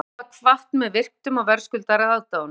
Skáldið var kvatt með virktum og verðskuldaðri aðdáun